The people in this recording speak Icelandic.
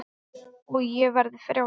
Og ég verði frjáls.